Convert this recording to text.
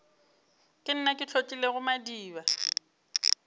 ke nna ke hlotlilego madiba